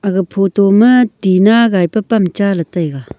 ga photo ma tina gai pe pam cha le taiga.